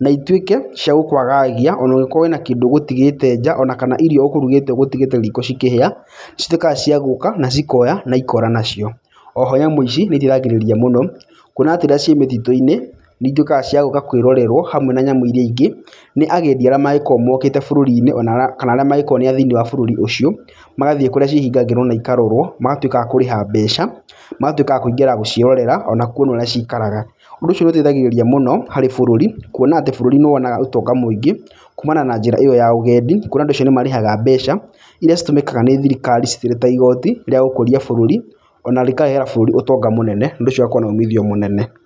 na itwĩke cia gũkwagagia, ona ũngĩkorwo wĩna kĩndũ ũgũtigĩte nja onakana irio ũkũrugĩte ũgũtigĩte riko cikĩhĩa, citwĩkaga cia gũũka na cikoya na ikora nacio. Oho nyamũ ici nĩiteithagĩrĩria mũno kwona atĩ rĩrĩa ciĩ mĩtitũ-inĩ, nĩitwĩkaga cia gũũka kwĩrorerwo hamwe na nyamũ iria ingĩ nĩ agendi arĩa mangĩkorwo mokĩte bũrũri-inĩ ona arĩa kana arĩa mangĩkorwo nĩ a thĩinĩ wa bũrũri ũcio, magathiĩ kũrĩa cihingagĩrwo na ĩkarorwo magatwĩka akũrĩha mbeca magatwĩka akũingĩra gũciĩrorera ona kwona ũrĩa ciikaraga. Ũndũ ũcio nĩũteithagĩrĩria mũno harĩ bũrũri kwona atĩ bũrũri nĩwonaga ũtonga mũĩngĩ kũũmana na njĩra iyo ya ũgendi, kwona andũ acio nĩmarĩhaga mbeca iria citumĩkaga nĩ thirikari ciri ta igoti rĩa gũkũria bũrũri ona rĩkarehera bũrũri utonga mũnene ũndũ ũcio ũgakorwo na umithio mũnene.